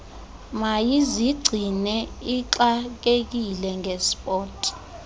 mayizigcine ixakekile ngesport